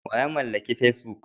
Wa ya mallaki facebook?